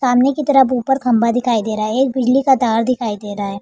सामने की तरफ ऊपर खंबा दिखाई दे रहा है एक बिजली का तार दिखाई दे रहा है।